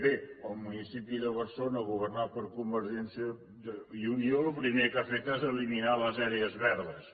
bé el municipi de barcelona governat per convergència i unió el primer que ha fet és eliminar les àrees verdes